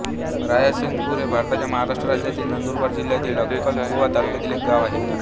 रायसिंगपूर हे भारताच्या महाराष्ट्र राज्यातील नंदुरबार जिल्ह्यातील अक्कलकुवा तालुक्यातील एक गाव आहे